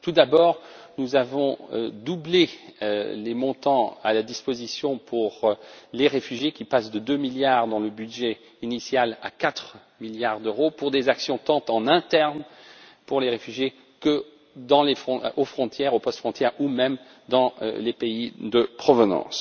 Tout d'abord, nous avons doublé les montants à la disposition des réfugiés, qui passent de deux milliards dans le budget initial à quatre milliards d'euros pour des actions tant en interne pour les réfugiés qu'aux frontières, aux postes frontières ou même dans les pays de provenance.